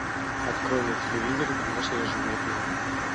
открой на телевизоре домашние животные